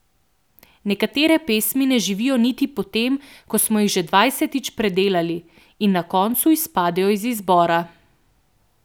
Nekatere pesmi ne zaživijo niti potem, ko smo jih že dvajsetič predelali, in na koncu izpadejo iz izbora.